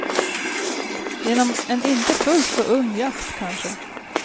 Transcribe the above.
Genom en inte fullt så ung jakt, kanske.